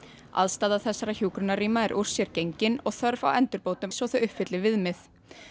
aðstaða þessara hjúkrunarrýma er úr sér gengin og þörf á endurbótum svo þau uppfylli viðmið